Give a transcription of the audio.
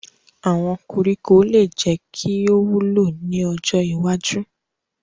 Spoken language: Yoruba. Awọn koriko le jẹ ki o wulo ni ojo iwaju